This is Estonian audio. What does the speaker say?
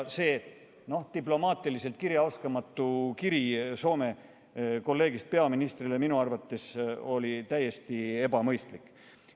See diplomaatiliselt kirjaoskamatu kiri Soome peaministrile oli minu arvates täiesti ebamõistlik.